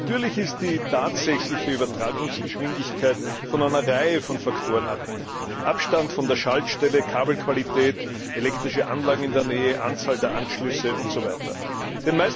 Natürlich ist die tatsächliche Übertragungsgeschwindigkeit von einer Reihe von Faktoren abhängig Abstand von der Schaltstelle, Kabelqualität, elektrische Anlagen in der Nähe, Anzahl der Anschlüsse usw.